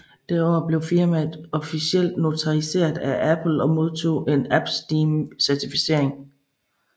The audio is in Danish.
Det år blev firmaet officielt notariseret af Apple og modtog en AppEsteem Certificering